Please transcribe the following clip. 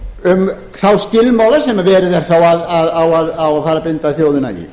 um þá skilmála sem á að fara að binda þjóðina í